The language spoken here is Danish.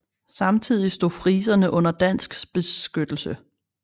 Samtidigt stod friserne under dansk beskyttelse